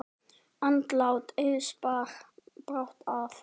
Andlát Eiðs bar brátt að.